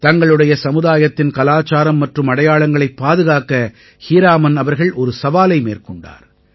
தங்களுடைய சமுதாயத்தின் கலாச்சாரம் மற்றும் அடையாளங்களைப் பாதுகாக்க ஹீராமன் அவர்கள் ஒரு சவாலை மேற்கொண்டார்